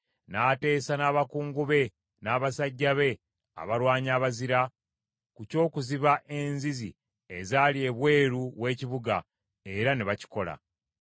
n’ateesa n’abakungu be n’abasajja be abalwanyi abazira, ku ky’okuziba enzizi ezaali ebweru w’ekibuga, era ne bakikola.